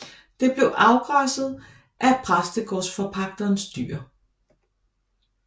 Det blev afgræsset af præstegårdsforpagterens dyr